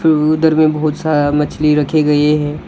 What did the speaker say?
उधर में बहुत सारा मछली रखी गई है।